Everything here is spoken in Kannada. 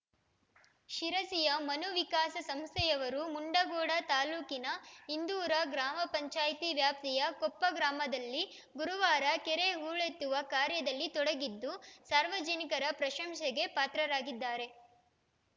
ಶಿರಸಿಯ ಮನು ವಿಕಾಸ ಸಂಸ್ಥೆಯವರು ಮುಂಡಗೋಡ ತಾಲೂಕಿನ ಇಂದೂರ ಗ್ರಾಮ ಪಂಚಾಯತಿ ವ್ಯಾಪ್ತಿಯ ಕೊಪ್ಪ ಗ್ರಾಮದಲ್ಲಿ ಗುರುವಾರ ಕೆರೆ ಹೂಳೆತ್ತುವ ಕಾರ್ಯದಲ್ಲಿ ತೊಡಗಿದ್ದು ಸಾರ್ವಜನಿಕರ ಪ್ರಶಂಸೆಗೆ ಪಾತ್ರರಾಗಿದ್ದಾರೆ